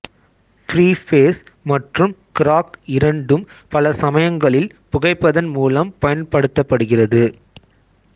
ஃப்ரீபேஸ் மற்றும் கிராக் இரண்டும் பல சமயங்களில் புகைப்பதன் மூலம் பயன்படுத்தப்படுகிறது